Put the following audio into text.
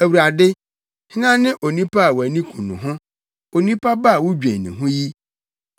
Awurade, hena ne onipa a wʼani ku no ho onipa ba a wudwen ne ho yi?